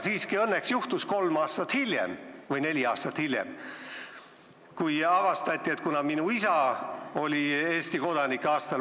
Siiski juhtus õnneks kolm või neli aastat hiljem see, et minust sai sünnijärgne Eesti kodanik, kuna avastati, et minu isa oli Eesti kodanik.